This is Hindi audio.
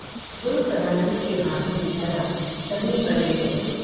गुरु सदानंद के हाथों की गदा ज़मीन पर गिर गई।